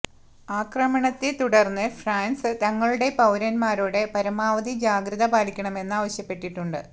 ആക്രമണത്തെ തുടര്ന്ന് ഫ്രാന്സ് തങ്ങളുടെ പൌരന്മാരോട് പരമാവധി ജാഗ്രത പാലിക്കണമെന്ന് ആവശ്യപ്പെട്ടിട്ടുണ്ട്